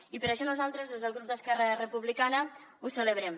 i per això nosaltres des del grup d’esquerra republicana ho celebrem